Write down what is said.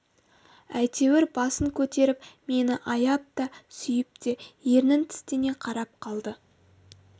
әйтеуір басын көтеріп мені аяп та сүйіп те ернін тістене қарап алды